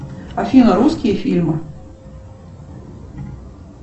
афина русские фильмы